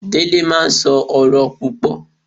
Dele máa ń sọ̀rọ̀ púpò